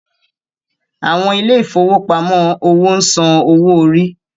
Àwọn ilé ìfowópamọ́ òwò ń san owó orí.